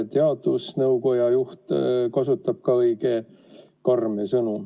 Teadusnõukoja juht kasutab ka õige karme sõnu.